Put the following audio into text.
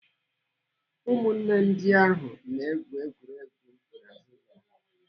Ụmụnne ndị ahụ na-egwu egwuregwu n'azụ ụlọ ha.